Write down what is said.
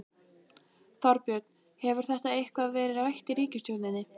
Þorbjörn: Hefur þetta eitthvað verið rætt í ríkisstjórninni?